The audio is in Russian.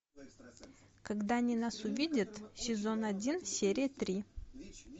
когда они нас увидят сезон один серия три